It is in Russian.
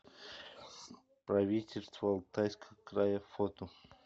правительство алтайского края фото